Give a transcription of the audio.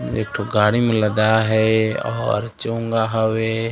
एकठो गाड़ी म लदाये हे आऊ चोंगा हवे।